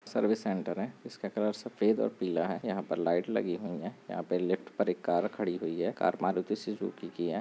Service centre है इसका colour सफेद और पीला है यहाँ पर लाइट लगी हुई है यहाँ पे लिफ्ट पर एक कार खड़ी हुई है कार मारुति सुजुकी की है।